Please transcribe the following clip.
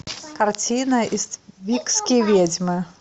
картина иствикские ведьмы